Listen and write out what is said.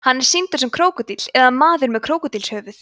hann er sýndur sem krókódíll eða maður með krókódílshöfuð